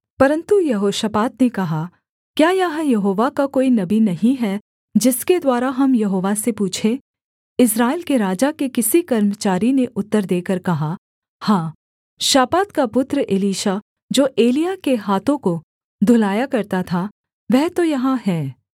परन्तु यहोशापात ने कहा क्या यहाँ यहोवा का कोई नबी नहीं है जिसके द्वारा हम यहोवा से पूछें इस्राएल के राजा के किसी कर्मचारी ने उत्तर देकर कहा हाँ शापात का पुत्र एलीशा जो एलिय्याह के हाथों को धुलाया करता था वह तो यहाँ है